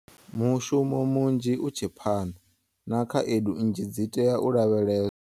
Mushumo munzhi u tshe phanḓa, na khaedu nnzhi dzi tea u lavheleswa.